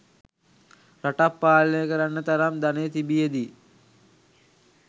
රටක් පාලනය කරන්න තරම් ධනය තිබියදී